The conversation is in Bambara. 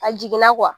A jiginna